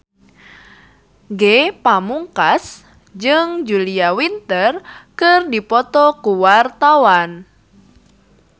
Ge Pamungkas jeung Julia Winter keur dipoto ku wartawan